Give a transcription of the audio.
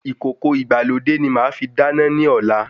Ìkòkò ìgbàlódé ni màá fi dáná ní ọ̀la